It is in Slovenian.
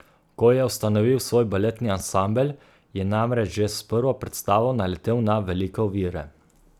Ko je ustanovil svoj baletni ansambel, je namreč že s prvo predstavo naletel na velike ovire.